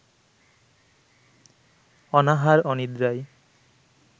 অনাহার-অনিদ্রায়